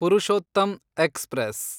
Purushottam express